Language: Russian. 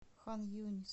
хан юнис